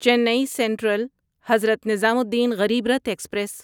چینی central Hazrat Nizamuddin Garib Rath express